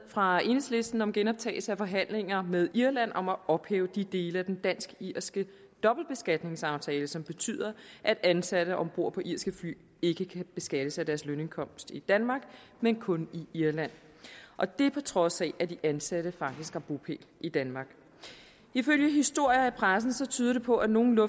fra enhedslisten om genoptagelse af forhandlinger med irland om at ophæve de dele af den dansk irske dobbeltbeskatningsaftale som betyder at ansatte om bord på irske fly ikke kan beskattes af deres lønindkomst i danmark men kun i irland og det på trods af at de ansatte faktisk har bopæl i danmark ifølge historier i pressen tyder det på at nogle